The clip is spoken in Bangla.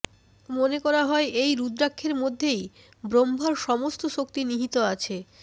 মনে করা হয় এই রুদ্রাক্ষের মধ্যেই ব্রহ্মার সমস্ত শক্তি নিহিত আছে